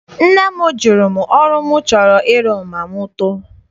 Nne m jụrụ m ọrụ m chọrọ ịrụ ma m too.